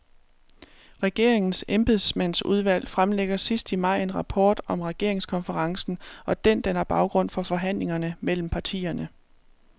Regeringens embedsmandsudvalg fremlægger sidst i maj en rapport om regeringskonferencen, og den danner baggrund for forhandlingerne mellem partierne.